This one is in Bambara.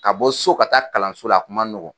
Ka bɔ so ka taa kalanso la a kuma n nɔgɔ.